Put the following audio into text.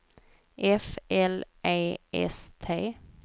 F L E S T